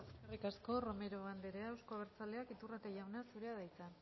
eskerrik asko romero andrea euzko abertzaleak iturrate jauna zurea da hitza